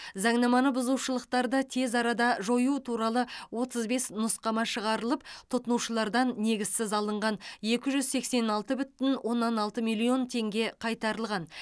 заңнаманы бұзушылықтарды тез арада жою туралы отыз бес нұсқама шығарылып тұтынушылардан негізсіз алынған екі жүз сексен алты бүтін оннан алты миллион теңге қайтарылған